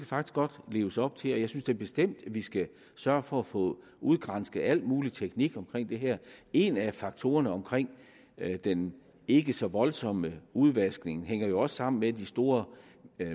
faktisk godt leves op til og jeg synes da bestemt at vi skal sørge for at få udgransket alt mulig teknik omkring det her en af faktorerne omkring den ikke så voldsomme udvaskning hænger også sammen med at de store